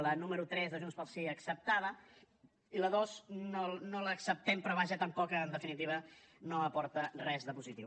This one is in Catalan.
la número tres de junts pel sí acceptada i la dos no l’acceptem però vaja tampoc en definitiva no aporta res de positiu